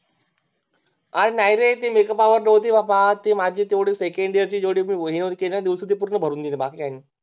अरे नाही रे ते Makeup hour नव्हती बाबा तीमाझी Second year ची जेवढी हे केली होती न दिवस ती भरून गेली बाकी काही नाही